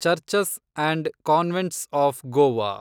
churches and convents of Goa